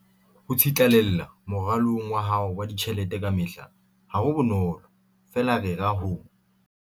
Ho tsitlallela moralong wa hao wa ditjhelete kamehla ha ho bonolo, feela rera ho.